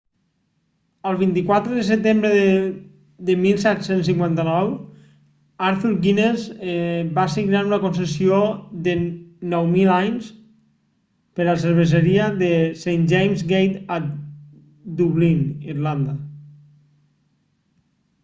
el 24 de setembre de 1759 arthur guinness va signar una concessió de 9.000 anys per la cerveseria de st james' gate a dublín irlanda